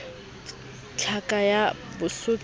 tlhaka ya basotho p t